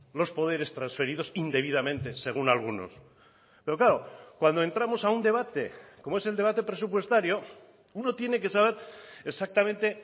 los poderes transferidos indebidamente según algunos pero claro cuando entramos a un debate como es el debate presupuestario uno tiene que saber exactamente